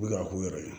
U bɛ ka k'u yɛrɛ ye